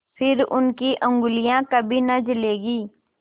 फिर उनकी उँगलियाँ कभी न जलेंगी